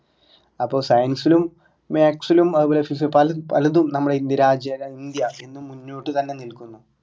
അപ്പൊ science ലും maths ലും അതുപോലെ പല പലതും നമ്മുടെ ഇ രാജ്യ അല്ല ഇന്ത്യ എന്നും മുന്നോട്ട് തന്നെ നിൽക്കുന്നു